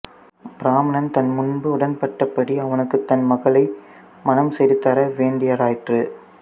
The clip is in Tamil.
பிராமணன் தான் முன்பு உடன்பட்ட படி அவனுக்குத் தன் மகளை மணம் செய்து தர வேண்டியதாயிற்று